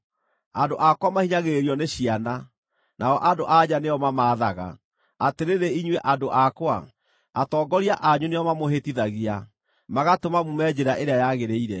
Andũ akwa mahinyagĩrĩrio nĩ ciana, nao andũ-a-nja nĩo mamaathaga. Atĩrĩrĩ inyuĩ andũ akwa, atongoria anyu nĩo mamũhĩtithagia, magatũma muume njĩra ĩrĩa yagĩrĩire.